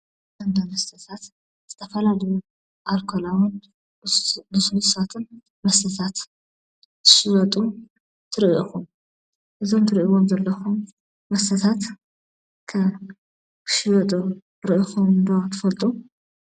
ኣብ እንዳ መስተታት ዝተፈላለዩ ኣልኮላውን ልስሉሳትን መስተታት እንትሽየጡ ትሪኡ ኢኹም፡፡ እዞም ትሪእይዎም ዘለኹም መስተታት ከ ክሽየጡ ርኢኹሞም ዶ ትፈልጡ?